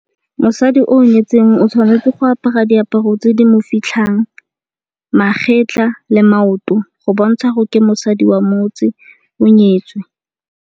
Mosadi o nyetseng o tshwanetse go apara diaparo tse di mo fitlhang magetla le maoto go bontsha gore ke mosadi wa motse o nyetswe.